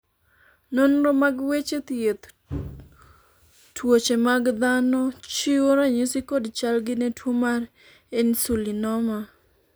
nonro mag weche thieth tuoche mag dhano chiwo ranyisi kod chalgi ne tuo mar Insulinoma